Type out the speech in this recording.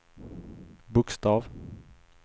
bokstav